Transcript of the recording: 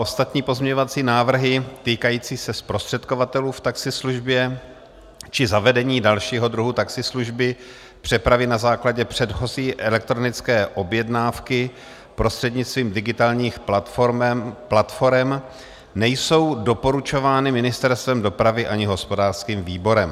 Ostatní pozměňovací návrhy týkající se zprostředkovatelů v taxislužbě či zavedení dalšího druhu taxislužby, přepravy na základě předchozí elektronické objednávky prostřednictvím digitálních platforem, nejsou doporučovány Ministerstvem dopravy ani hospodářským výborem.